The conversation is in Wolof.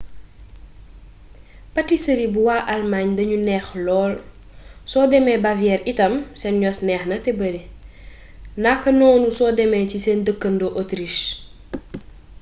patisëri bu waa almaañ dañu neex lool soo demee bavière itam seen yos neexna te bari nakanoonu soo demee ci seen dëkkandoo autriche